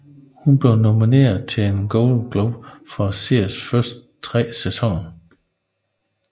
Hun blev nomineret til en Golden Globe for seriens første tre sæsoner